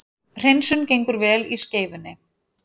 Hreinsun gengur vel í Skeifunni